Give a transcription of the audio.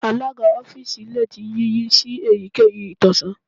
Alaga ọfiisi le ti yiyi si eyikeyi itọsọn